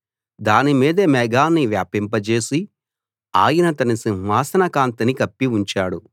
దాని మీద మేఘాన్ని వ్యాపింపజేసి ఆయన తన సింహాసన కాంతిని కప్పి ఉంచాడు